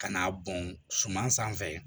Ka n'a bɔn suman sanfɛ